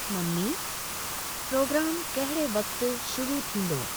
Mummy programme कहिड़े वक़्ति शुरू थींदो ?